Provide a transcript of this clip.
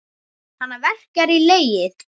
Hana verkjar í legið.